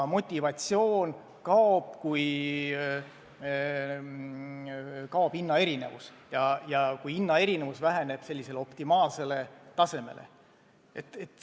Motivatsioon kaob, kui kaob hinnaerinevus või kui hinnaerinevus väheneb optimaalsele tasemele.